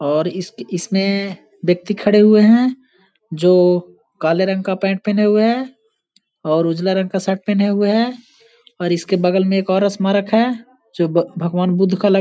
और इस इसके इसने व्यक्ति खड़े हुए हैं जो काले रंग का पैंट पहने हुए हैं और उजला रंग का शर्ट पहने हुए है और इसके बगल में एक और स्मारक है जो भग भगवान बुद्ध का लग --